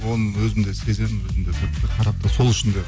оны өзім де сеземін сол үшін де